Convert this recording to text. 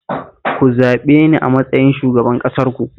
Ku zaɓe ni a matsayin shugaban ƙasarku